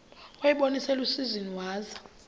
wayibona iselusizini waza